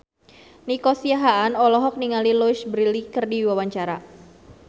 Nico Siahaan olohok ningali Louise Brealey keur diwawancara